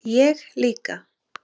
Ég líka